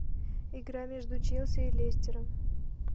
игра между челси и лестером